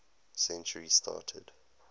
century started